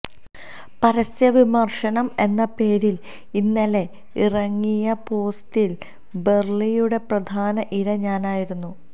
പരസ്യവിമര്ശനം എന്ന പേരില് ഇന്നലെ ഇറങ്ങിയ പോസ്റ്റില് ബെര്ളിയുടെ പ്രധാന ഇര ഞാനായിരുന്നു